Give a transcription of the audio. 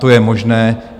To je možné.